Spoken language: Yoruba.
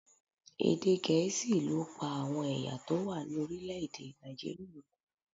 Èdè Gẹ̀ẹ́sì ló pa àwọn ẹ̀yà tó wà ní orílẹ̀ èdè Nàìjíríà.